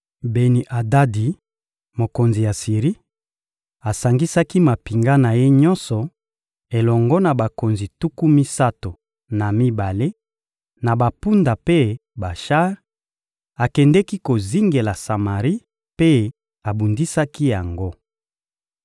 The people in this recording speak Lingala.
Beni-Adadi, mokonzi ya Siri, asangisaki mampinga na ye nyonso elongo na bakonzi tuku misato na mibale na bampunda mpe bashar; akendeki kozingela Samari mpe abundisaki yango.